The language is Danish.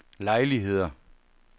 lejligheder